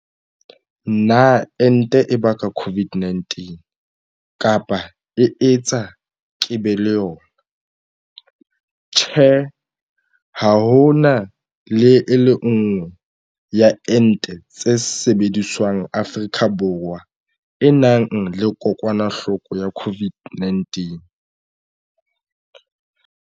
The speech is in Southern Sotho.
Potso. Na ente e baka COVID-19 kapa e etsa ke be le yona? Karabo. Tjhe. Ha ho le ha e le nngwe ya ente tse sebediswang Afrika Borwa e nang le kokwanahloko ya COVID-19.